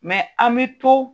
a ni tɔw